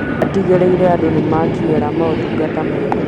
Atigĩrĩire andũ nĩmakinyĩra motungata mega